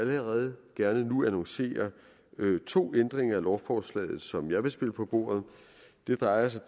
allerede nu gerne annoncere to ændringer af lovforslaget som jeg vil spille på bordet det drejer sig